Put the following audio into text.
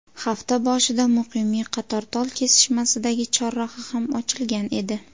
Hafta boshida Muqimiy Qatortol kesishmasidagi chorraha ham ochilgan edi.